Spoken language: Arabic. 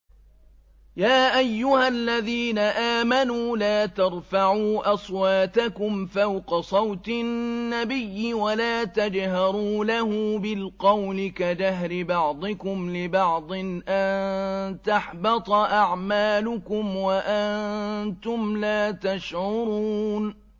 يَا أَيُّهَا الَّذِينَ آمَنُوا لَا تَرْفَعُوا أَصْوَاتَكُمْ فَوْقَ صَوْتِ النَّبِيِّ وَلَا تَجْهَرُوا لَهُ بِالْقَوْلِ كَجَهْرِ بَعْضِكُمْ لِبَعْضٍ أَن تَحْبَطَ أَعْمَالُكُمْ وَأَنتُمْ لَا تَشْعُرُونَ